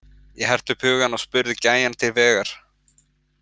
Ég herti upp hugann og spurði gæjann til vegar.